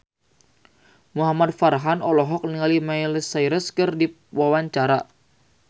Muhamad Farhan olohok ningali Miley Cyrus keur diwawancara